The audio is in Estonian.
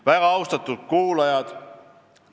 Väga austatud kuulajad!